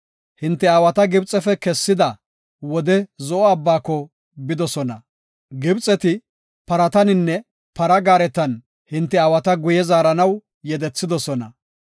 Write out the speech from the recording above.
Hinte aawata Gibxefe kessida wode Zo7o Abbaako bidosona. Gibxeti parataninne para gaaretan hinte aawata guye zaaranaw yedethidosona.